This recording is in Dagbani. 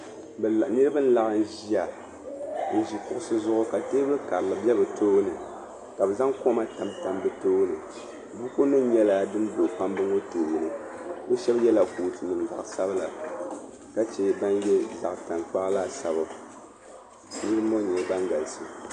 Niriba n-laɣim ʒiya n-ʒi kuɣisi zuɣu ka teebuli karili be bɛ tooni ka be zaŋ koma tam tam di tooni bukunima nyɛla din be kpamba ŋɔ tooni be shɛba yela cootunima zaɣ'sabila ka che ban ye zaɣ'tankpaɣu laasabu niriba ŋɔ nyɛla ban galisi.